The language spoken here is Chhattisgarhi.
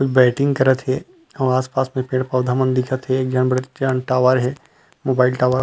बैटिंग करत हे अऊ आस-पास में पेड़ पौधा मन दिखत हे एक झन बड़ेज जान टावर हे मोबाइल टावर --